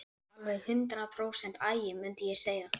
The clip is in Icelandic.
Alveg hundrað prósent agi, mundi ég segja.